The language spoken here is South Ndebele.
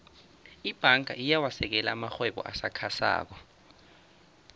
ibhanga iyawasekela amarhwebo asakhasako